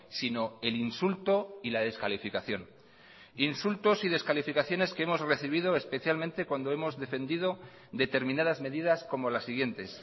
sino el insulto y la descalificación insultos y descalificaciones que hemos recibido especialmente cuando hemos defendido determinadas medidas como las siguientes